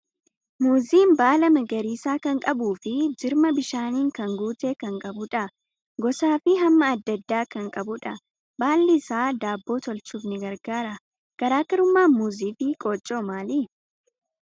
Muuziin baala magariisa kan qabuu fi jirma bishaaniin kan guute kan qabudha. Gosaa fi hamma adda addaa kan qabudha. Baalli isaa daabboo tolchuuf ni gargaara. Garaa garummaan muuzii fi qooccoo maali?